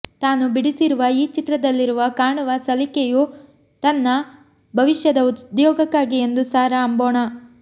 ತಾನು ಬಿಡಿಸಿರುವ ಈ ಚಿತ್ರದಲ್ಲಿರುವ ಕಾಣುವ ಸಲಿಕೆಯು ತನ್ನ ಭವಿಷ್ಯದ ಉದ್ಯೋಗಕ್ಕಾಗಿ ಎಂದು ಸಾರಾ ಅಂಬೋಣ